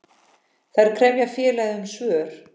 Þær krefja félagið um svör.